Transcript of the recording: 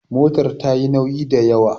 motar ta yi nauyi da ywa?